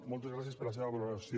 moltes gràcies per la seva col·laboració